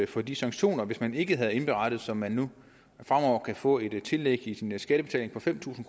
for de sanktioner hvis man ikke har indberettet så man nu fremover kan få et tillæg i sin skattebetaling på fem tusind